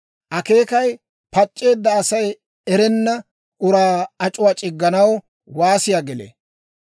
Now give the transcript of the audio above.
Akeekay pac'c'eedda Asay erenna uraa ac'uwaa c'igganaw waasiyaa gelee.